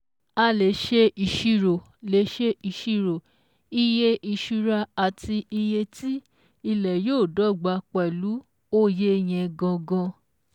A lè ṣe ìṣírò lè ṣe ìṣírò iye ìṣura àti iye ti ilẹ̀ yóò dọ́gba pẹ̀lú oye yẹn gangan